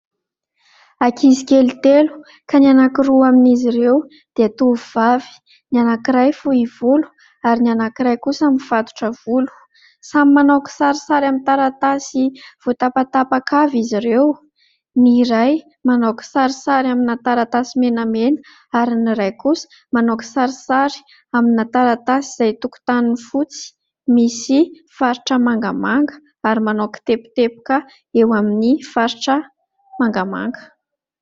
Ankizy kely telo ka ny anankiroa amin'izy ireo dia tovovavy ny anankiray fohy volo ary ny anankiray kosa mifatotra volo samy manao kisarisary amin'ny taratasy voatapatapaka avy izy ireo ny iray manao kisarisary amina taratasy menamena ary ny iray kosa manao kisarisary amina taratasy izay tokontaniny fotsy misy faritra mangamanga ary manao kiteboteboka eo amin'ny faritra mangamanga